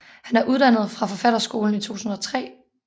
Han er uddannet fra Forfatterskolen i 2003